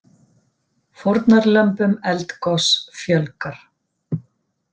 Fórnarlömbum eldgoss fjölgar